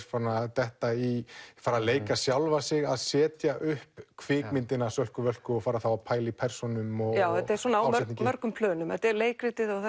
detta í fara að leika sjálfa sig að setja upp kvikmyndina Sölku Völku og fara þá að pæla í persónum og þetta er á mörgum plönum þetta er leikritið og